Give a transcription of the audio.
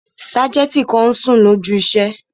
Sájẹ̀ntì kan n sùn lójú iṣẹ́